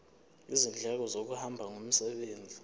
izindleko zokuhamba ngomsebenzi